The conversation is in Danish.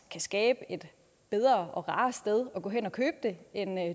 kan skabe et bedre og rarere sted at gå hen og købe det end